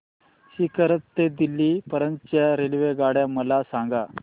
सीकर ते दिल्ली पर्यंत च्या रेल्वेगाड्या मला सांगा